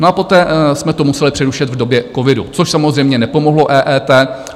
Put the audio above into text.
No a poté jsme to museli přerušit v době covidu, což samozřejmě nepomohlo EET.